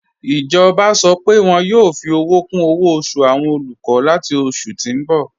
Ijọba sọ́ pé wọn yoo fi owo kun owo osu awọn olukọ lati oṣù ti n bọ̀.